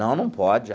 Não, não pode.